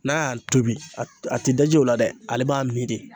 N'a y'a tobi a te daji o la dɛ ale b'a mi de